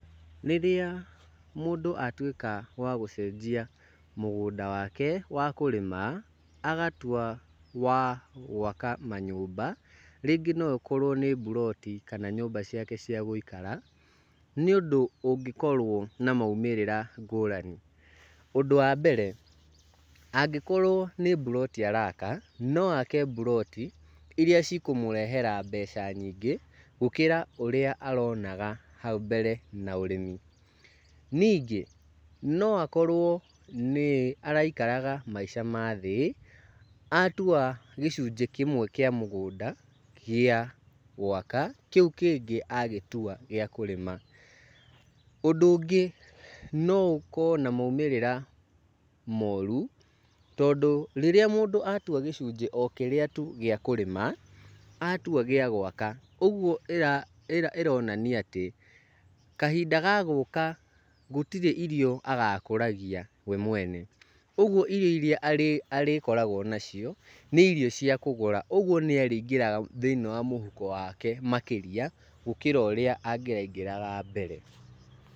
Rĩrĩa mũndũ atuĩka wa gũcenjia mũgũnda wake wa kũrĩma, agatua wa gwaka manyũmba, rĩngĩ no ĩkorwo nĩ mburoti kana nyũmba ciake cia gũikara, nĩ ũndũ ũngĩkorwo na maumĩrĩra ngũrani. Ũndũ wa mbere, angĩkorwo nĩ mburoti araka, no ake mburoti iria cikũmũrehera mbeca nyingĩ gũkĩra ũrĩa aronaga hau mbere na ũrĩmi. Ningĩ no akorwo nĩ araikaraga maica ma thĩ atua gĩcunjĩ kĩmwe kĩa mũgũnda gĩa gwaka, kĩu kĩngĩ agĩtua gĩa kũrĩma. Ũndũ ũngĩ no ũkorwo na maumĩrĩra moru, tondũ rĩrĩa mũndũ atua gĩcunjĩ o kĩrĩa tu gĩa kũrĩma atua gĩa gwaka, ũguo ĩronania atĩ kahinda gagũka gũtirĩ irio agakũragia we mwene. Ũguo irio iria arĩkoragwo nacio nĩ irio cia kũgũra, ũguo nĩarĩingĩraga thĩiniĩ wa mũhuko wake makĩria gũkĩra ũrĩa angĩraingĩraga mbere.